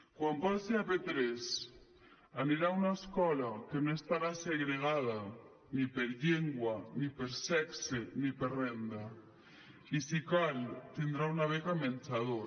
quan passi a p3 anirà una escola que no estarà segregada ni per llengua ni per sexe ni per renda i si cal tindrà una beca menjador